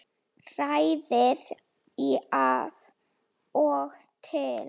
Hrærið í af og til.